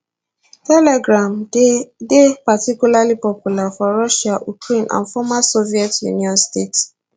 telegram dey dey particularly popular for russia ukraine and former soviet union states